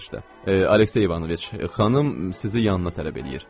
Aleksey İvanoviç, xanım sizi yanına tələb eləyir.